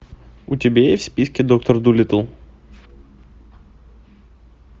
у тебя есть в списке доктор дулиттл